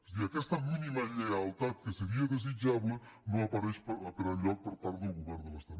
i aquesta mínima lleialtat que seria desitjable no apareix per enlloc per part del govern de l’estat